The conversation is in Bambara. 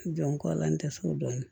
N jɔ kɔla n tɛ sɔn dɔɔnin